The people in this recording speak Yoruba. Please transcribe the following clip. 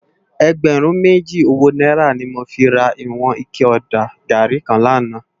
Ègbèrún méjí ówó nàírá ni mó fi rá iwòn iké òdá gàrí kán làná